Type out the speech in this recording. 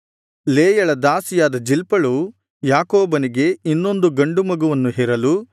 ಲೇಯಳ ದಾಸಿಯಾದ ಜಿಲ್ಪಳು ಯಾಕೋಬನಿಗೆ ಇನ್ನೊಂದು ಗಂಡು ಮಗುವನ್ನು ಹೆರಲು